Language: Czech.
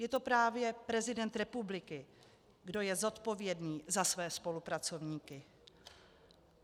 Je to právě prezident republiky, kdo je zodpovědný za své spolupracovníky.